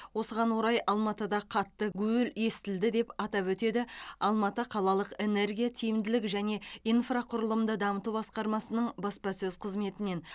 осыған орай алматыда қатты гуіл естілді деп атап өтеді алматы қалалық энергия тиімділік және инфрақұрылымды дамыту басқармасының баспасөз қызметінен